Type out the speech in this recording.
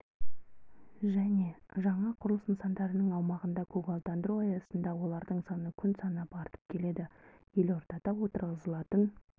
және жаңа құрылыс нысандарының аумағын көгалдандыру аясында олардың саны күн санап артып келеді елордада отырғызылатын